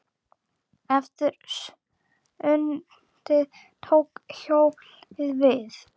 Eftir sundið tók hjólið við.